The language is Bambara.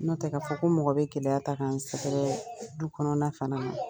N'o tɛ k'a fɔ ko mɔgɔ bɛ gɛlɛya ta k'a n sɛgɛrɛ du kɔnɔna fana na